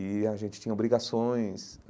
e a gente tinha obrigações.